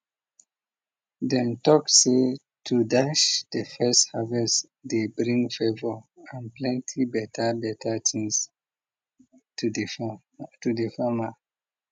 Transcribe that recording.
dem tok say to dash de first harvest dey bring favour and plenty beta beta things t de farmer